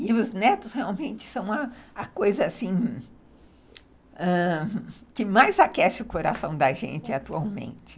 E os netos realmente são a coisa que mais aquece o coração da gente atualmente.